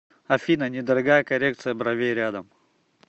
афина недорогая коррекция бровей рядом